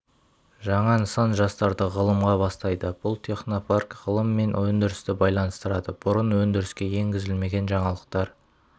жаңа нысан жастарды ғылымға бастайды бұл технопарк ғылым мен өндірісті байланыстырады бұрын өндіріске енгізілмеген жаңалықтар